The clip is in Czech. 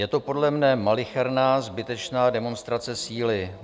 Je to podle mne malicherná, zbytečná demonstrace síly.